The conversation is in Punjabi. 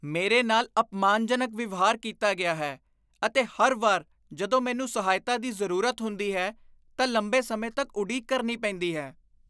ਮੇਰੇ ਨਾਲ ਅਪਮਾਨਜਨਕ ਵਿਵਹਾਰ ਕੀਤਾ ਗਿਆ ਹੈ ਅਤੇ ਹਰ ਵਾਰ ਜਦੋਂ ਮੈਨੂੰ ਸਹਾਇਤਾ ਦੀ ਜ਼ਰੂਰਤ ਹੁੰਦੀ ਹੈ ਤਾਂ ਲੰਬੇ ਸਮੇਂ ਤੱਕ ਉਡੀਕ ਕਰਨੀ ਪੈਂਦੀ ਹੈ।